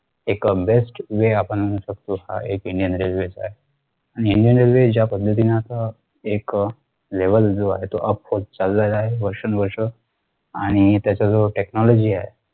एक अं bestway आपण म्हणू शकतो हा एक indianrailway चा ए आणि indianrailway ज्या पद्धतीने आता एक अह level जो आहे तो up होत चालेला आहे वर्षानुवर्षे आणि त्याच्याजवळ technology आहे